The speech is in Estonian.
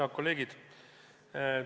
Head kolleegid!